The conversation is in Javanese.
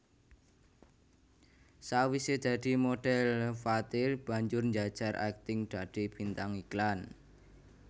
Sawisé dadi modhèl Fathir banjur njajal akting dadi bintang iklan